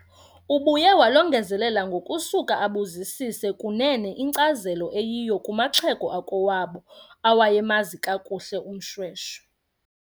Ubuye walongezelela ngokusuka abuzisise kunene inkcazelo eyiyo kumaxhego akowabo awayemazi kakuhle uMShweshwe.